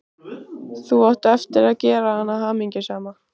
Þú átt eftir að gera hana hamingjusama.